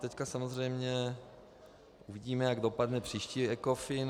Teď samozřejmě uvidíme, jak dopadne příští ECOFIN.